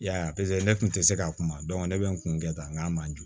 I y'a ye a paseke ne kun tɛ se ka kuma ne bɛ n kun kɛ tan n k'a ma jo